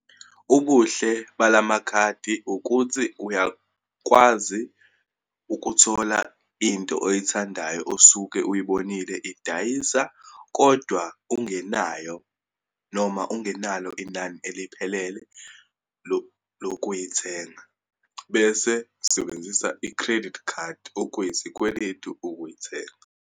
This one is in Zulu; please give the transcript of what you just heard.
Ubuhle balamakhadi ukuthi, uyakwazi ukuthola into oyithandayo osuke uyibonile idayisa, kodwa ungenenayo noma ungenalo inani eliphelele lokuyithenga. Bese usebenzisa i-credit card, okuyisikweletu ukuyithenga.